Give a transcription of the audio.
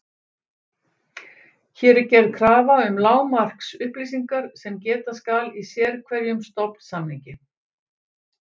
Hér er gerð krafa um lágmarksupplýsingar sem geta skal í sérhverjum stofnsamningi.